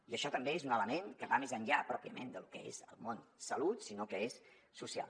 i això també és un element que va més enllà pròpiament del que és el món salut i que és social